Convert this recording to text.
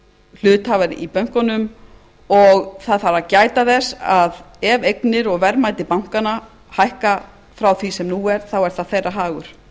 hluthafar í bönkunum og það þarf að gæta þess að ef eignir og verðmæti bankanna hækka frá því sem nú er þá er það þeirra hagur